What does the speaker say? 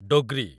Dogri